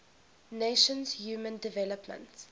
nations human development